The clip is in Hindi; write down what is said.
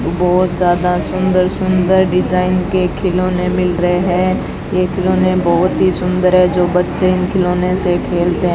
बहोत ज्यादा सुंदर-सुंदर डिजाइन के खिलौने मिल रहे हैं ये खिलौने बहुत ही सुंदर हैं जो बच्चे इन खिलौने से खेलते है।